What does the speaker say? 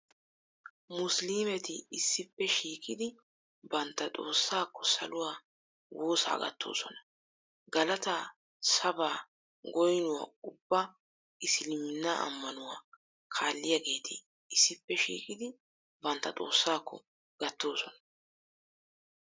Musiliimeti issippe shiiqidi bantta Xoossaakko saluwaa woosaa gattoosona. Galataa, sabaa, goynuwaa ubbaa isliminnaa ammanuwaa kaalliyaageeti issippe shiiqidi bantta Xoossaakko gattoosona.